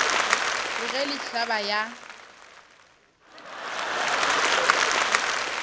re ge le hlaba ya